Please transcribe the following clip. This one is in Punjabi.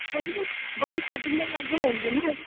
ਉਹਦੀ ਵੀ ਉਹਦੀ cutting ਵੀ ਅਲੱਗ ਹੋਊਗੀ ਨਾ